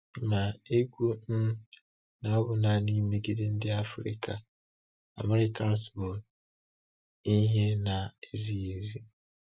Ma ikwu um na ọ bụ naanị megide ndị African Americans bụ́ ihe na-ezighị ezi.